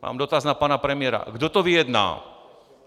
Mám dotaz na pana premiéra: Kdo to vyjedná?